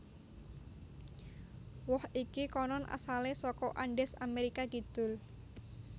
Woh iki konon asalé saka Andes Amérika Kidul